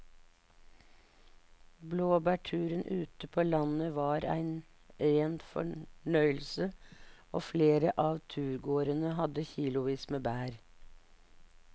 Blåbærturen ute på landet var en rein fornøyelse og flere av turgåerene hadde kilosvis med bær.